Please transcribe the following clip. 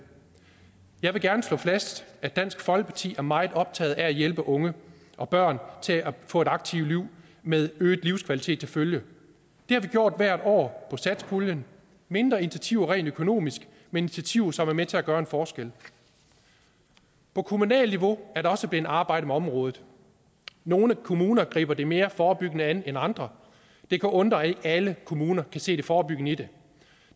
jeg vil gerne slå fast at dansk folkeparti er meget optaget af at hjælpe unge og børn til at få et aktivt liv med øget livskvalitet til følge det har vi gjort hvert år satspuljen mindre initiativer rent økonomisk men initiativer som er med til at gøre en forskel på kommunalt niveau er der også blevet arbejdet med området nogle kommuner griber det mere forebyggende an end andre det kan undre at ikke alle kommuner kan se det forebyggende i det